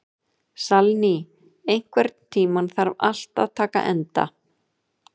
Salný, einhvern tímann þarf allt að taka enda.